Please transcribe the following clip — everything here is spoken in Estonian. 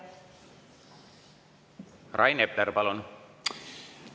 Rain Epler, palun!